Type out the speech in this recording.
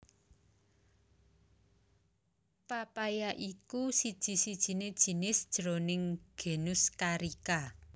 papaya iku siji sijiné jinis jroning genus Carica